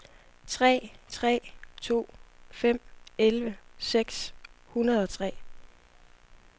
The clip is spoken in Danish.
tre tre to fem elleve seks hundrede og tre